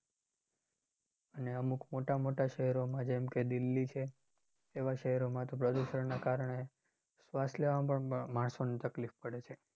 અને અમુક મોટા મોટા શહેરોમાં જેમકે દિલ્હી છે. એવા શેહરોમાં તો પ્રદુષણના કારણે શ્વાસ લેવામાં પણ માણસોને તકલીફ પડે છે